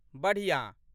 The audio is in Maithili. बढ़िआँ।